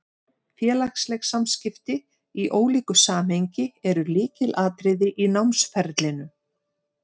Félagsleg samskipti, í ólíku samhengi, eru lykilatriði í námsferlinu.